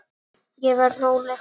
Ég verð róleg.